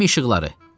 Gəmi işıqları.